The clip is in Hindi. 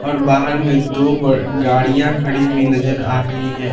और बाहर में दो गाड़ियां खड़ी हुई नज़र आ रही हैं।